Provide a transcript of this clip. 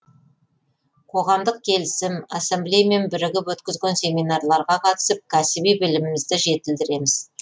қоғамдық келісім ассаблеямен бірігіп өткізген семинарларға қатысып кәсіби білімімізді жетілдіреміз